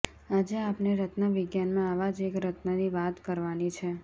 આજે આપણે રત્નવિજ્ઞાનમાં આવા જ એક રત્નની વાત કરવાની છે